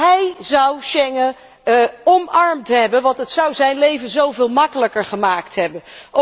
Hij zou Schengen omarmd hebben, want het zou zijn leven zoveel makkelijker gemaakt hebben.